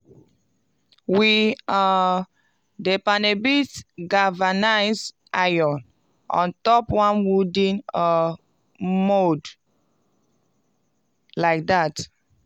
we um dey panel beat galvanized iron on top one wooden um mould like dat.